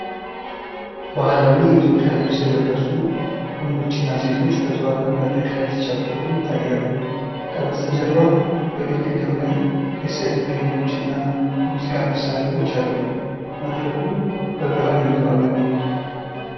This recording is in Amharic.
ባህላዊ የኢትዮጵያ ልብስ የለበሱ ወንዶችና ሴቶች በተዋበ መድረክ ላይ ሲጨፍሩ ይታያሉ። ከበስተጀርባ በግድግዳው ላይ የስዕል ፍሬሞች እና የሙዚቃ መሳሪያዎች አሉ። መድረኩ በብርሃን የተዋበ ነው።